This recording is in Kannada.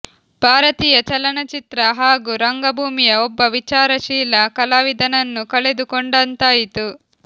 ಭಾರತೀಯ ಚಲನಚಿತ್ರ ಹಾಗೂ ರಂಗಭೂಮಿಯ ಒಬ್ಬ ವಿಚಾರಶೀಲ ಕಲಾವಿದನನ್ನು ಕಳೆದು ಕೊಂಡಂತಾಯಿತು